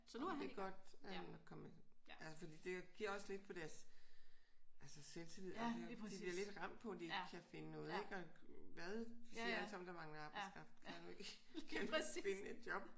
Jamen det er godt at han er kommet. Altså fordi det giver også lidt på deres altså selvtillid. De bliver lidt ramt på at de ikke kan finde noget ik? Og hvad? De siger alle sammen at der mangler arbejdskraft. Kan du ikke finde et job?